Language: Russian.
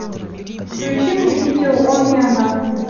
включи мне видео он и она